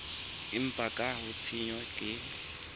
empa ka ha tshenyo ke